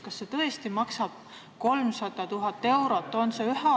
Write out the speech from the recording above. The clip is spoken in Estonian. Kas see tõesti maksab 300 000 eurot?